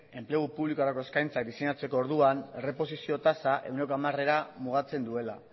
enplegu publikorako eskaintzak diseinatzeko orduan erreposizio tasa ehuneko hamarera mugatzen duela